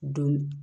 Don